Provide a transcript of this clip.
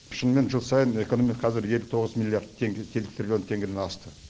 шынымен жыл сайын экономика қазір елу тоғыз миллиард триллион теңгеден асты